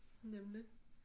Nemlig